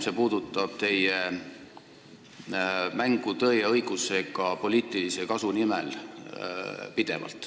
See puudutab teie pidevat mängu tõe ja õigusega poliitilise kasu nimel.